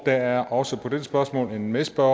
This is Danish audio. der er også på dette spørgsmål en medspørger